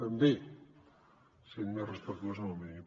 també sent més respectuós amb el medi ambient